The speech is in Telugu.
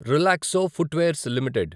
Relaxo Footwears limited